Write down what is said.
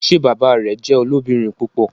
Ṣe bàbá rẹ jẹ olobirin púpọ?